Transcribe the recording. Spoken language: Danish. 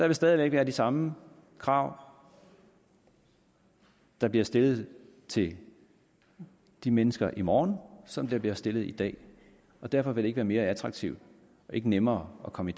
vil stadig væk være de samme krav der bliver stillet til de mennesker i morgen som der bliver stillet i dag og derfor vil det ikke være mere attraktivt og ikke nemmere at komme